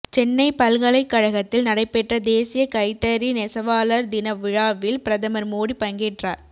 சென்னை பல்கலைக் கழகத்தில் நடைபெற்ற தேசிய கைத்தறி நெசவாளர் தின விழாவில் பிரதமர் மோடி பங்கேற்றார்